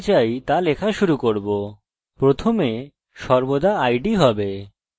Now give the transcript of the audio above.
এটি একটি স্ব বৃদ্ধিশীল মান প্রতিবার আমি একটি নতুন রেকর্ড বানাবো